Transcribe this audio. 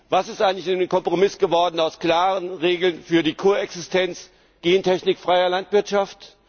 Was ist eigentlich aus dem Kompromiss geworden, aus klaren Regeln für die Koexistenz gentechnikfreier Landwirtschaft?